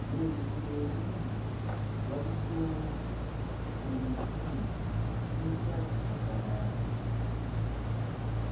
era eruuyi n'eruuyi waliyo emiti egya kiragala.